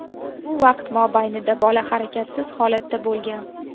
Bu vaqt mobaynida bola harakatsiz holatda bo‘lgan.